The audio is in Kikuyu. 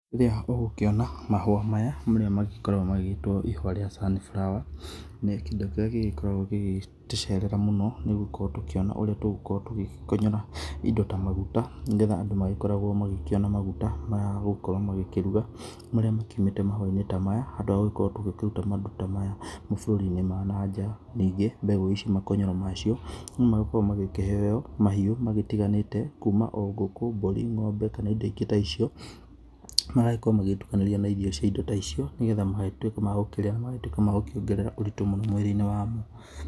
Rĩrĩa ũgũkĩona mahũa maya nĩrĩo magĩkoragwo magĩtwo ĩhĩa rĩa sunflower nĩ kĩndũ kĩrĩa gĩgĩkoragwo gĩgĩtũcerera mũno nĩ gũkorwo tũkĩona ũrĩa tũgũkonyora indo ta magũta nĩ getha andũ magĩkoragwo makĩona mũgũta ma gũgĩkorwo makĩrũga marĩa makĩũmĩte mahũa inĩ ta maya handũ ha gũgĩkorwo tũgĩkĩrũta magũta ta maya bũrũrĩ inĩ wa nanja, nĩngĩ mbegũ ici makonyoro macio no magĩkorwo magĩkĩheo mahiũ magĩtĩganĩte magĩtĩganĩte kũma o ngũkũ, mbũri, ng'ombe kana ĩndo irĩa ĩngĩ ta icio magagĩkorwo magĩtũkanĩrio na irio cia indo ta icio na magagĩtũĩka ma gũkĩrĩa na magũkĩongerera ũrĩtũ mũno.